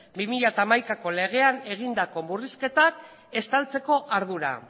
bi mila hamaikako legean egindako murrizketak estaltzeko ardura